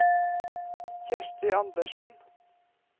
Kjersti Andersen